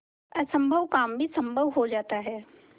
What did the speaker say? असम्भव काम भी संभव हो जाता है